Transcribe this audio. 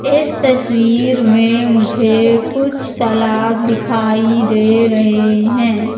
इस तस्वीर में मुझे कुछ तालाब दिखाई दे रहे हैं।